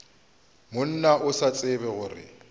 monna o sa tsebe gore